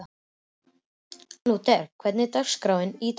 Lúther, hvernig er dagskráin í dag?